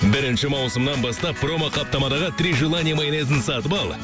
бірінші маусымнан бастап промо қаптамадағы три желания майонезін сатып ал